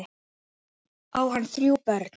Á hann þrjú börn.